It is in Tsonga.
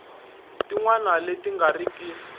tin wana leti nga riki